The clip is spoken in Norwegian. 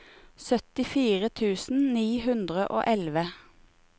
syttifire tusen ni hundre og elleve